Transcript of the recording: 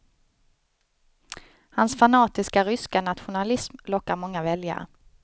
Hans fanatiska ryska nationalism lockar många väljare.